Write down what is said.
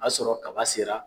A y'a sɔrɔ kaba sera.